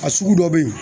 A sugu dɔ bɛ yen